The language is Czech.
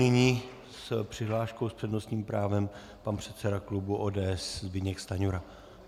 Nyní s přihláškou s přednostním právem pan předseda klubu ODS Zbyněk Stanjura.